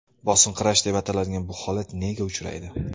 Bosinqirash deb ataladigan bu holat nega uchraydi?